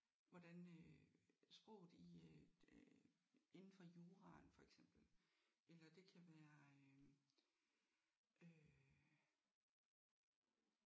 Hvordan øh sproget i øh øh inden for juraen for eksempel eller det kan være øh øh